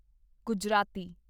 Gujarati